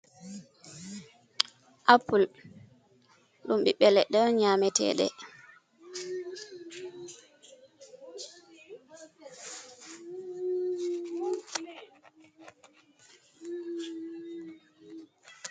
Apple ɗum ɓiɓbe leɗɗe on nyameteɗe.